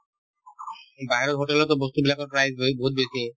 বাহিৰত hotel তো বস্তুবিলাকৰ prize rate বহুত বেছি